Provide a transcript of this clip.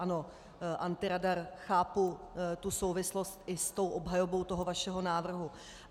Ano, antiradar, chápu tu souvislost i s tou obhajobou toho vašeho návrhu.